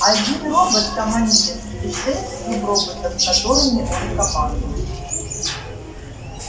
один робот командир и шесть суброботов которыми он командует